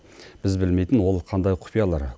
біз білмейтін ол қандай құпиялар